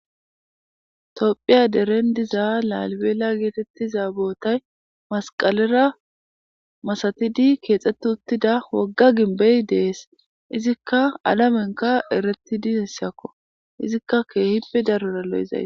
Tophiya deren diza lalibela getetiza botay masqalera masatidi kexeti ittida wogga ginbey des izika alamenka eretidi dizaysako izika kehippe darora lo'izaysako